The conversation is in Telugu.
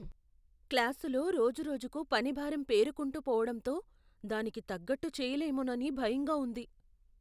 క్లాసులో రోజురోజుకు పని భారం పేరుకుంటూ పోవడంతో దానికి తగ్గట్టు చేయలేమోనని భయంగా ఉంది.